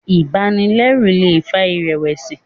ibanilẹru lè fà irẹwẹsi